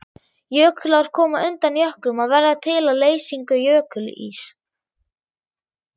Jökulár koma undan jöklum og verða til við leysingu jökulíss.